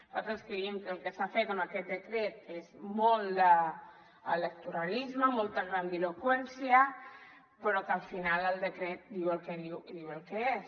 nosaltres creiem que el que s’ha fet amb aquest decret és molt d’electoralisme molta grandiloqüència però que al final el decret diu el que diu i diu el que és